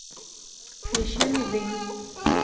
священный дым